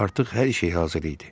Artıq hər şey hazır idi.